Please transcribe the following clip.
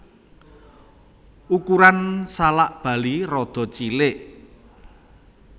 Ukuran salak Bali rada cilik